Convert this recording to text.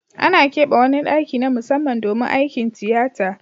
Ana kebe wani daki na musamman domin aikin tiyata.